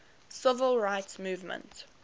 civil rights movement